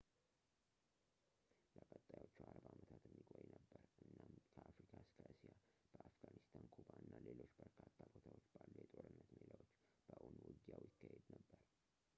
ለቀጣዮቹ 40 ዓመታት የሚቆይ ነበር እናም ከአፍሪካ እስከ እስያ በአፍጋኒስታን ኩባ እና ሌሎች በርካታ ቦታዎች ባሉ የጦርነት ሜዳዎች በእውን ውጊያው ይካሄድ ነበር